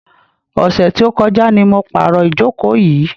Ọ̀sẹ̀ tí ó kọjá ni mo pàrò ìjókò yìí.